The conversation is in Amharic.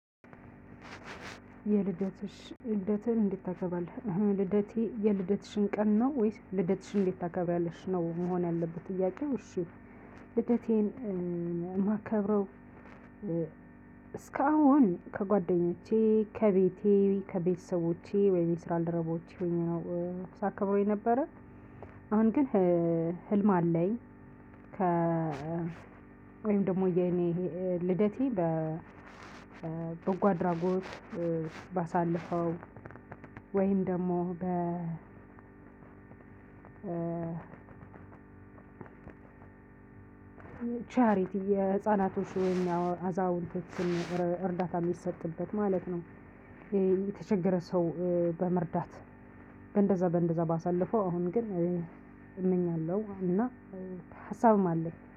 የልደትሽ ልደትን እንዴት ታገባለህ ልደቴ የልደትሽን ቀን ነው ወይስ ልደትሽን እንዴት ታከብሪያለሽ ነው መሆን ያለበት ጥያቄው እሺ ልደቴን የማከብረው። እስካሁን ከጓደኞቼ ከቤቴ ከቤተሰቦቼ ወይም የስራ ባልደረቦቼ ይሄን ነው ሳከብረው የነበረ። አሁን ግን ህልም አለኝ። ከ ወይም ደግሞ የኔ ልደቴ በጎ አድራጎት ባሳልፈው ወይም ደግሞ በ ቻሪቲ የህፃናቶች ወይም አዛውንቶችን እርዳታ የሚሰጥበት ማለት ነው። የተቸገረ ሰው በመርዳት። በእንደዛ በእንደዛ ባሳልፈው አሁን ግን እመኛለሁ እና ሀሳብም አለ